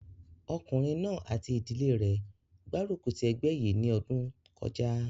Ọkùnrin náà àti ìdílé rẹ̀ gbárùkù ti ẹgbẹ́ yìí ní ọdún kọjá